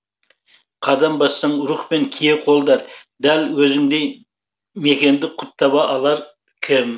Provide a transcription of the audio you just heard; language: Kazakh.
қадам бассаң рух пен кие қолдар дәл өзіңдей мекенді құт таба алар кім